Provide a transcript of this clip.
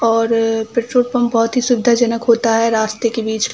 और अअ petrol pump बहोत ही सुविधाजनक होता है रास्ते के बिच।